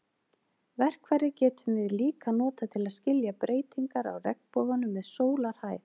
Verkfærið getum við líka notað til að skilja breytingar á regnboganum með sólarhæð.